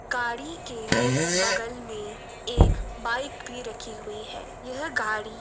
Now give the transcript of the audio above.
गाड़ी के बगल में एक बाइक भी रखी हुई है। यह गाड़ी --